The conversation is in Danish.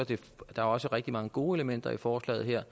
der er også rigtig mange gode elementer i forslaget her